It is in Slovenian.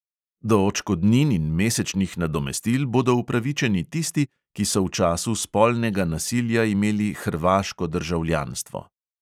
Do odškodnin in mesečnih nadomestil bodo upravičeni tisti, ki so v času spolnega nasilja imeli hrvaško državljanstvo.